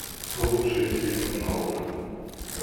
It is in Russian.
лучшие фильмы нолана